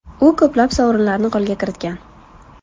U ko‘plab sovrinlarni qo‘lga kiritgan.